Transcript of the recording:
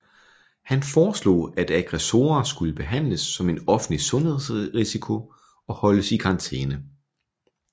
Han foreslog at aggressorer skulle behandles som en offentlig sundhedsrisiko og holdes i karantæne